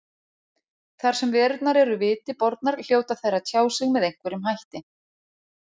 Þar sem verurnar eru viti bornar hljóta þær að tjá sig með einhverjum hætti.